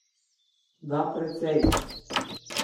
Da, precej.